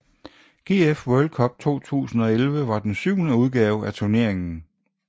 GF World Cup 2011 var den syvende udgave af turneringen